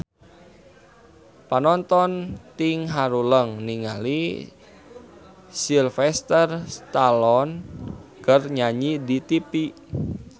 Panonton ting haruleng ningali Sylvester Stallone keur nyanyi di tipi